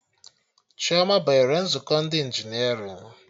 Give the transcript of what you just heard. Chioma banyere nzukọ ndị injinerịn